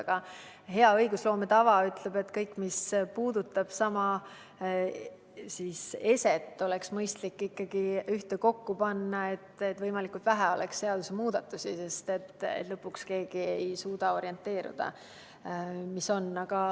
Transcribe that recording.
Aga hea õigusloome tava ütleb, et kõik, mis puudutab sama eset, on mõistlik ühtekokku panna, et võimalikult vähe oleks seadusemuudatusi, sest lõpuks ei suuda keegi enam orienteeruda.